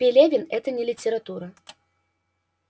пелевин это не литература